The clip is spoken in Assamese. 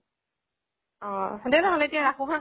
অহ দে নহলে এতিয়া ৰাখো হা